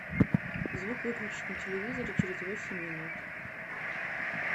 звук выключить на телевизоре через восемь минут